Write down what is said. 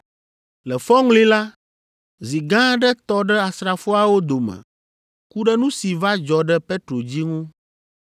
Le fɔŋli la, zi gã aɖe tɔ ɖe asrafoawo dome ku ɖe nu si va dzɔ ɖe Petro dzi ŋu.